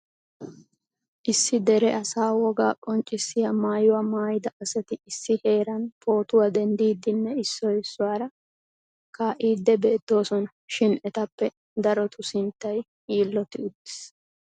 Issi dere asaa wogaa qonccissiyaa maayyuwaa maayyida asati issi heeran pootuwaa denddidinne issoy issuwaara kaa'ide beettoosona shin etappe darotu sinttay yiiloti uttiis.